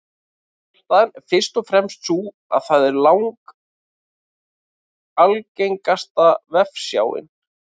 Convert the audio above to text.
Ástæðan er fyrst og fremst sú að það er langalgengasta vefsjáin.